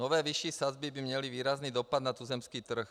Nové vyšší sazby by měly výrazný dopad na tuzemský trh.